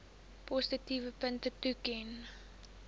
positiewe punte toeken